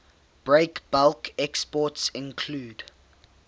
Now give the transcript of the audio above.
breakbulk exports include